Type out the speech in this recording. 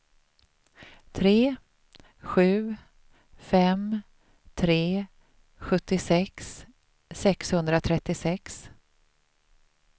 tre sju fem tre sjuttiosex sexhundratrettiosex